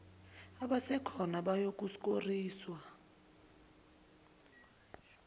abasekhona bayoku skorishwa